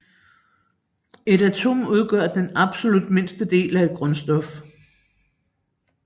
Et atom udgør den absolut mindste del af et grundstof